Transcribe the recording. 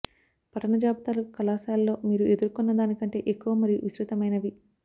పఠన జాబితాలు కళాశాలలో మీరు ఎదుర్కొన్న దానికంటే ఎక్కువ మరియు విస్తృతమైనవి